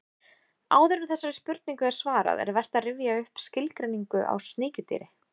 Áður en þessari spurningu er svarað er vert að rifja upp skilgreiningu á sníkjudýri.